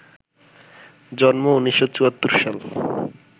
জন্ম ১৯৭৪ সাল